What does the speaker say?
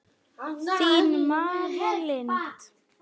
Þín, María Lind.